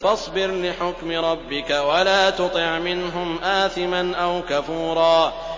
فَاصْبِرْ لِحُكْمِ رَبِّكَ وَلَا تُطِعْ مِنْهُمْ آثِمًا أَوْ كَفُورًا